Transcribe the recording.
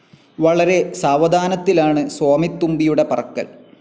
വളരെ സാവധാനത്തിലാണ് സ്വാമിത്തുമ്പിയുടെ പറക്കൽ.